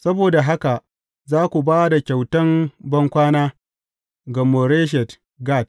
Saboda haka za ku ba da kyautan bankwana ga Moreshet Gat.